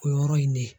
O yɔrɔ in de